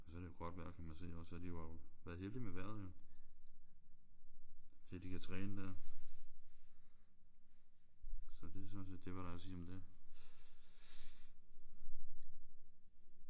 Og så er det jo godt vejr kan man se også så de har jo været heldige med vejret jo så de kan træne der. Så det er sådan set det hvad der er at sige om det